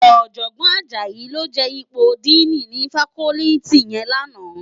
Òjògbòn Ajayi ló je ipó dìní ni fákòlìtí yèn làná